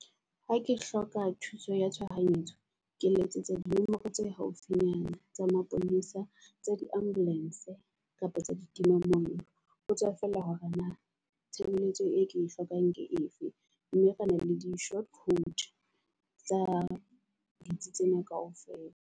Ha ke hloka thuso ya tshohanyetso, ke letsetsa di nomoro tse haufinyana tsa maponesa. Tsa di ambulance kapa tsa di tima mollo ho tswa feela hore na tshebeletso e ke e hlokang ke efe. Mme re na le di short tsa ditsi tsena kaofela.